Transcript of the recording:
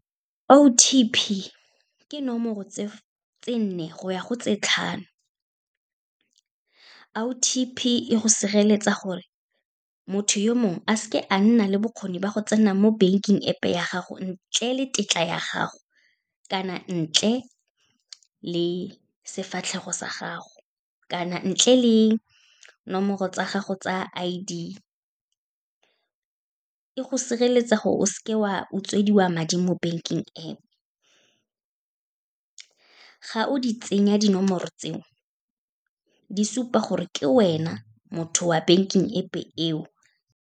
O_T_P ke nomoro tse nne go ya go tse tlhano. O_T_P e go sireletsa gore motho yo mongwe a seke a nna le bokgoni ba go tsena mo banking App-e ya gago ntle le tetla ya gago, kana ntle le sefatlhego sa gago, kana ntle le nomoro tsa gago tsa I_D. E go sireletsa gore o seke wa utswediwa madi mo banking App, ga o di tsenya dinomoro tseo, di supa gore ke wena, motho wa banking App-e eo.